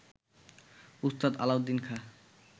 Ustad Alauddin Khan